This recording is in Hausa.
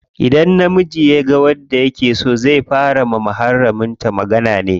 Idan namiji yaga wacce yake so, zai fara yi wa muharramin ta magana ne.